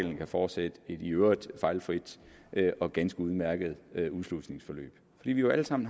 kan fortsætte i et i øvrigt fejlfrit og ganske udmærket udslusningsforløb vi har jo alle sammen